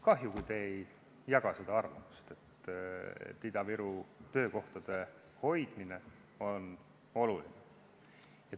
Kahju, kui te ei jaga seda arvamust, et Ida-Virumaal töökohtade hoidmine on oluline.